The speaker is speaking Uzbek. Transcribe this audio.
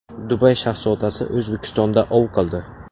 Dubay shahzodasi O‘zbekistonda ov qildi .